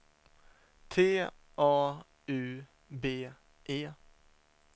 T A U B E